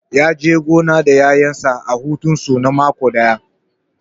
Ya je gona da ƴaƴansa a hutun su na mako ɗaya